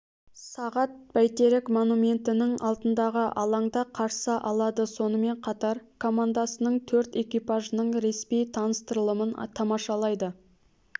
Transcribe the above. сағат бәйтерек монументінің алдындағы алаңда қарсы алады сонымен қатар командасының төрт экипажының ресми таныстырылымын тамашалайды